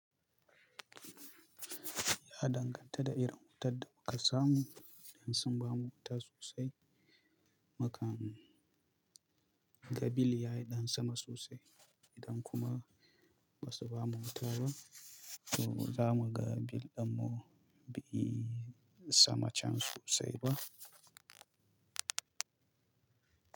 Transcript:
Ya danganta da irin wutar da kuka samu. Idan sun ba mu wuta sosai, makan gabil yayi ɗan sama sosai. Idan kuma ba su ba mu wuta ba, to za mu ga bil ɗan mu bi sama can sosai ba.